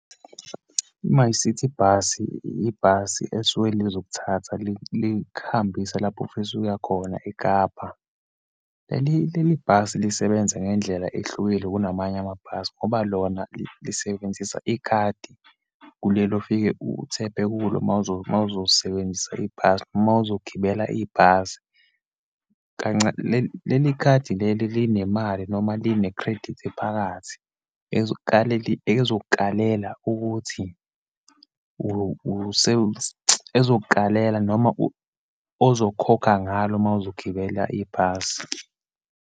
I-MyCiti Bus, ibhasi elisuke lizokuthatha likuhambise lapho ofisa ukuya khona, eKapa. Leli leli bhasi lisebenze ngendlela ehlukile kunamanye amabhasi ngoba lona lisebenzisa ikhadi, kulelo ofike u-tap-e kulo uma , uma uzosebenzisa ibhasi, uma uzogibela ibhasi. Leli leli khadi leli linemali noma line-credit phakathi ezukaleli, ezokukalela ukuthi ezokukalela noma ozokhokha ngalo uma uzogibela ibhasi.